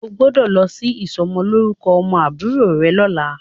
O gbọ́dọ̀ lọ sí ìsọmọlórúkọ ọmọ àbúrò rẹ lọ́la.